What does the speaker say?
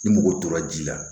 Ni mɔgɔ tora ji la